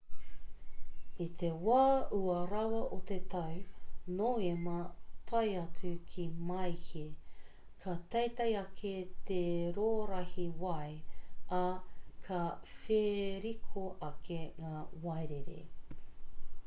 i te wā ua rawa o te tau noema tae atu ki māehe ka teitei ake te rōrahi wai ā ka wheriko ake ngā wairere